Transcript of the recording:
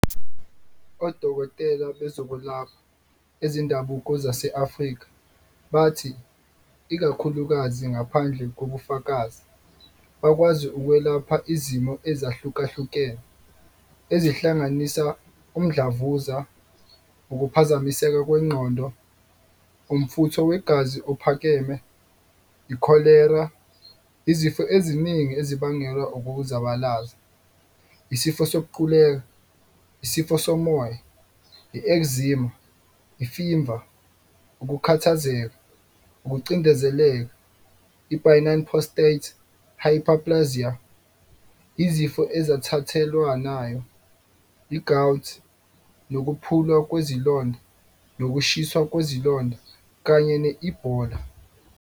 Odokotela bezokwelapha ezendabuko zase-Afrika bathi, ikakhulukazi ngaphandle kobufakazi, bakwazi ukwelapha izimo ezihlukahlukene ezihlanganisa umdlavuza, ukuphazamiseka kwengqondo, umfutho wegazi ophakeme, ikholera, izifo eziningi ezibangelwa ukuzabalaza, isifo sokuquleka, isifuba somoya, I-eczema, imfiva, ukukhathazeka, ukucindezeleka, i-benign prostate hyperplasia, izifo ezithathelwanayo, i-gout, nokuphulwa kwezilonda nokushiswa kwezilonda kanye ne-I-Ebola.